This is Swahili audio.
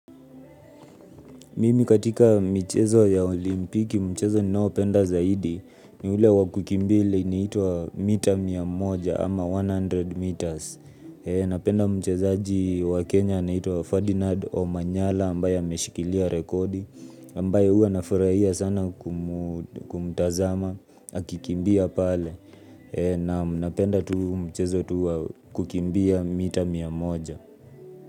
Mimi katika michezo ya olimpiki mchezo ninaopenda zaidi ni ule wakukimbia ile inaitwa mita miamoja ama mia moja meters. Napenda mchezaji wa Kenya anaiwa Ferdinand Omanyala ambaye ameshikilia rekodi ambaye huwa nafurahia sana kumtazama akikimbia pale. Naam napenda tu mchezo tu wa kukimbia mita miamoja.